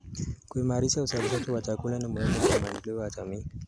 Kuimarisha uzalishaji wa chakula ni muhimu kwa maendeleo ya jamii.